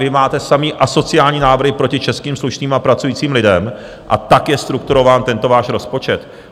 Vy máte samé asociální návrhy proti českým slušným a pracujícím lidem a tak je strukturován tento váš rozpočet.